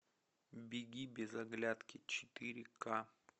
беги без оглядки четыре ка